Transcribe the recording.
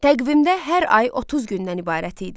Təqvimdə hər ay 30 gündən ibarət idi.